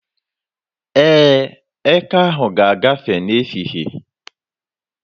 Ee, eke ahụ ga-agafe n'ehihie.